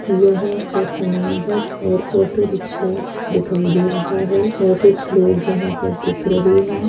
यहाँ पर हमे बस और ऑटो रिक्क्षा दिखाई दे रहा है। और कुछ लोग यहाँ पर दिख रहे है।